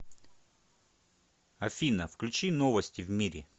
афина включи новости в мире